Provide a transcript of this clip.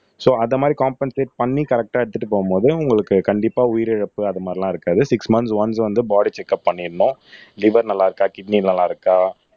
so அந்த மாதிரி compensate பண்ணி கரெக்ட்டா எடுத்துட்டு போகும்போது உங்களுக்கு கண்டிப்பா உயிரிழப்பு அது மாதிரி எல்லாம் இருக்காது சிக்ஸ் மந்த்ஸ் ஒன்ஸ் வந்து பாடி செக்கப் பண்ணிருண்ணும் லிவர் நல்லா இருக்கா கிட்னி நல்லா இருக்கா